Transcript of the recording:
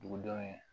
Dugudenw ye